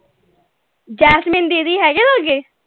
Jasmine ਦੀਦੀ ਹੈਗੇ ਹੈ ਲਾਗੇ